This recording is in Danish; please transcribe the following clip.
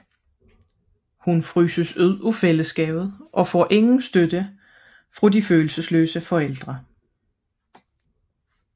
Hun fryses efterhånden ude af fællesskabet og får ingen støtte fra de følelsesløse forældre